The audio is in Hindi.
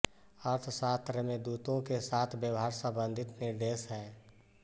अर्थशास्त्र में दूतों के साथ व्यवहार संबंधी निर्देश हैं